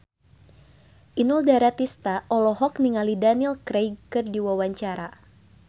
Inul Daratista olohok ningali Daniel Craig keur diwawancara